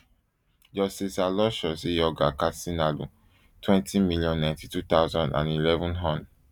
justice aloysius iyorgyer katsinaalu twenty million, ninety-two thousand and eleven hon